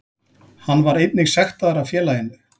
Hann var einnig sektaður af félaginu